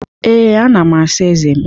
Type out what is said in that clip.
Ee, ana m asa ezé m